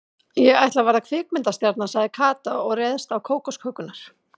Ég ætla að verða kvikmyndastjarna sagði Kata og réðst á kókoskökurnar.